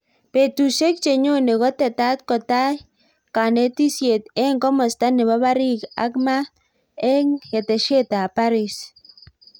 Petusiek chenyone kotetat kotai kanetisiet eng komasta nebo parik ak maat eng keteshet ap Paris